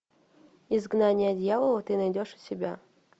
изгнание дьявола ты найдешь у себя